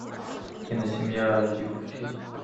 киносемья аш ди включить